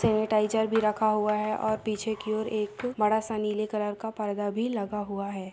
Sanitiser भी रखा हुए है और पीछे की और एक बड़ा सा नीले कलर का पर्दा भी लगा हुए है।